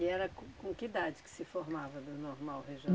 E era com com que idade que se formava do Normal